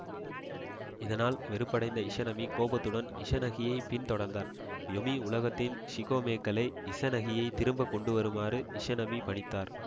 இதனால் வெறுப்படைந்த இஸநமி கோபத்துடன் இஸநகியை பின் தொடர்ந்தார் யொமி உலகத்தின் ஷிகொமேக்களை இசநகியை திரும்ப கொண்டுவருமாறு இஸநமி பணித்தார்